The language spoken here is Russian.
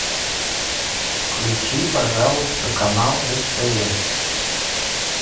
включи пожалуйста канал стс